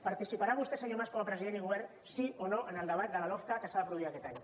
participarà vostè senyor mas com a president i govern sí o no en el debat de la lofca que s’ha de produir aquest any